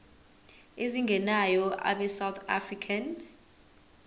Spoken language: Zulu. ezingenayo abesouth african